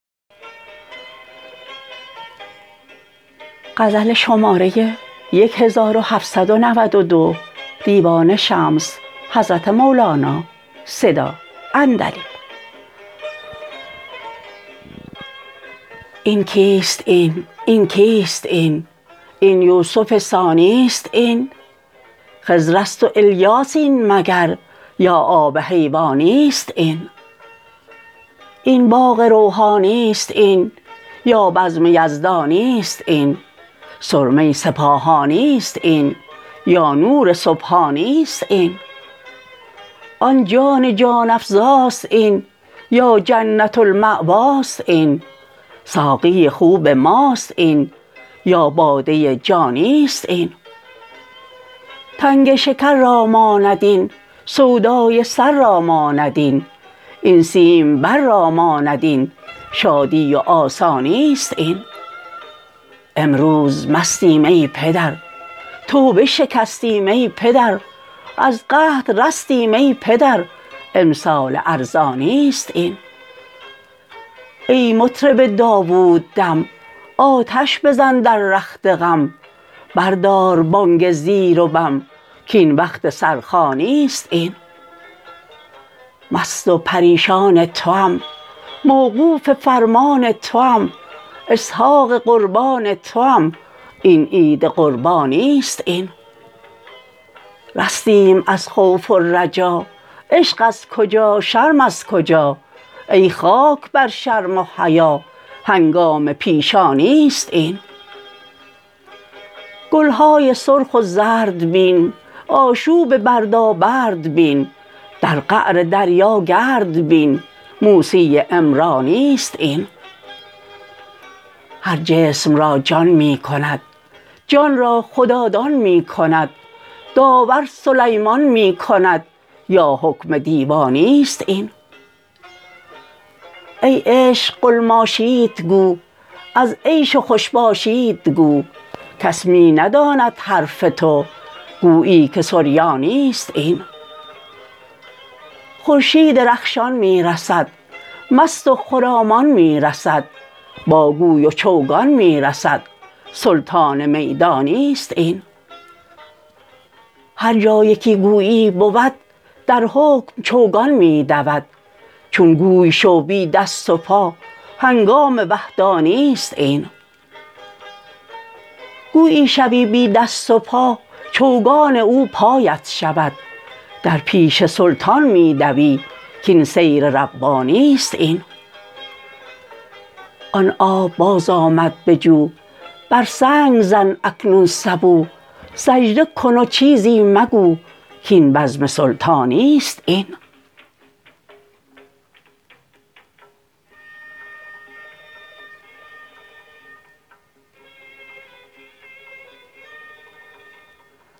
این کیست این این کیست این این یوسف ثانی است این خضر است و الیاس این مگر یا آب حیوانی است این این باغ روحانی است این یا بزم یزدانی است این سرمه سپاهانی است این یا نور سبحانی است این آن جان جان افزاست این یا جنت المأواست این ساقی خوب ماست این یا باده جانی است این تنگ شکر را ماند این سودای سر را ماند این آن سیمبر را ماند این شادی و آسانی است این امروز مستیم ای پدر توبه شکستیم ای پدر از قحط رستیم ای پدر امسال ارزانی است این ای مطرب داووددم آتش بزن در رخت غم بردار بانگ زیر و بم کاین وقت سرخوانی است این مست و پریشان توام موقوف فرمان توام اسحاق قربان توام این عید قربانی است این رستیم از خوف و رجا عشق از کجا شرم از کجا ای خاک بر شرم و حیا هنگام پیشانی است این گل های سرخ و زرد بین آشوب و بردابرد بین در قعر دریا گرد بین موسی عمرانی است این هر جسم را جان می کند جان را خدادان می کند داور سلیمان می کند یا حکم دیوانی است این ای عشق قلماشیت گو از عیش و خوش باشیت گو کس می نداند حرف تو گویی که سریانی است این خورشید رخشان می رسد مست و خرامان می رسد با گوی و چوگان می رسد سلطان میدانی است این هر جا یکی گویی بود در حکم چوگان می دود چون گوی شو بی دست و پا هنگام وحدانی است این گویی شوی بی دست و پا چوگان او پایت شود در پیش سلطان می دوی کاین سیر ربانی است این آن آب بازآمد به جو بر سنگ زن اکنون سبو سجده کن و چیزی مگو کاین بزم سلطانی است این